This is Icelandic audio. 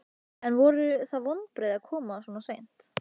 En voru það vonbrigði að koma svo seint?